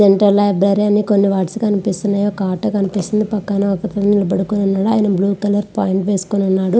Dental library అని కొన్ని వాట్స్ కనిపిస్తున్నాయి.ఒక ఆటో కనిపిస్తుంది.పక్కన ఒకతను నిలబడుకొనున్నాడు. అతని బ్లూ కలర్ పాయింట్ వేసుకొని ఉన్నాడు.